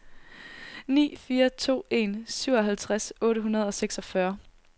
ni fire to en syvoghalvtreds otte hundrede og seksogfyrre